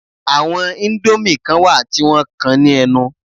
Àwọn indomie kan wà tí wọ́n kan ní ẹnu